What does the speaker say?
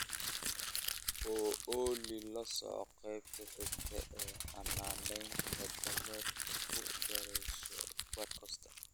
ooly lasoco qaybta xigta ee xanaanaynta dameerka ku daryeesho podcast